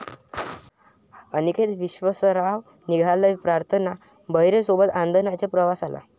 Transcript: अनिकेत विश्वासराव निघालाय प्रार्थना बेहरेसोबत आनंदाच्या प्रवासाला